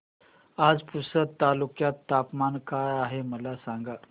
आज पुसद तालुक्यात तापमान काय आहे मला सांगा